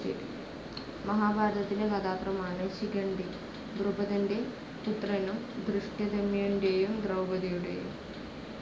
മഹാഭാരതത്തിലെ കഥാപാത്രമാണ്‌ ശിഖണ്ഡി. ദ്രുപദന്റെ പുത്രനും ധൃഷ്ടദ്യുമ്നന്റെയും ദ്രൗപദിയുടെയും